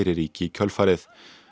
ríki í kjölfarið